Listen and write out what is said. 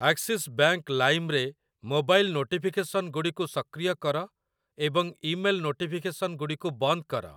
Axis Bank lime ରେ mobile ନୋଟିଫିକେସନ୍‌ଗୁଡ଼ିକୁ ସକ୍ରିୟ କର ଏବଂ ଇମେଲ୍‌ ନୋଟିଫିକେସନ୍‌ଗୁଡ଼ିକୁ ବନ୍ଦ କର ।